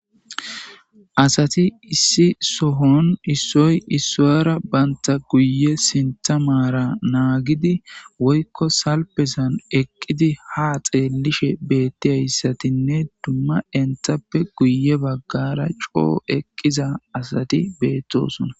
Asati issi sohon issoy issuwyara banta guye sintamara naagidi woykko salpesan eqqidi ha xeellishe beetti hayssatinne dumma enthappe guye baggara coo eqqiza asati beettosuna